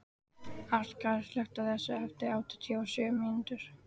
Arngarður, slökktu á þessu eftir áttatíu og sjö mínútur.